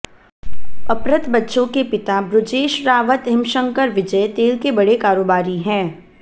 अपहृत बच्चों के पिता बृजेश रावत हिमशंकर विजय तेल के बड़े कारोबारी हैं